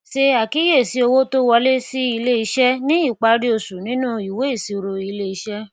ṣe àkíyèsí owó tó wọlé sí ilé iṣẹ ní ìparí oṣù nínú ìwé ìsirò ilé iṣé